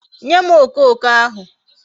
Nye m okoko ahu